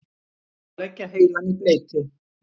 Að leggja heilann í bleyti